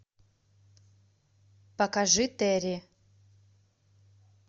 покажи терри